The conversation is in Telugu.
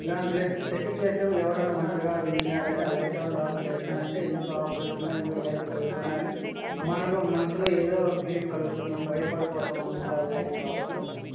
ఇలాంటి లెస్ సెట్టింగ్ చేస్తే ఎవరన్నా ఒంటరిగా వెళ్ళిన్నారంటే ఆ లైట్ ఆన్ అండ్ ఆఫ్ చేసినారంటే ఎందుకు ఆఫ్ అవుతున్నాయి. ఎందుకు లైట్ వెలుగుతున్నాయి అని మనకు మనసులో ఎదో ఫిలింగ్ కలుగుతుంది. బయపడిపోతాం అందుకో ఆ లైటింగ్ ఆఫ్ చేస్తాని--